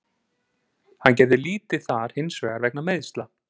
Hann gerði lítið þar hinsvegar vegna meiðsla.